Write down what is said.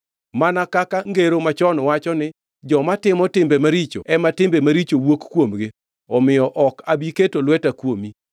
Mana kaka ngero machon wacho ni, ‘Joma timo timbe maricho ema timbe maricho wuok kuomgi’ omiyo ok abi keto lweta kuomi.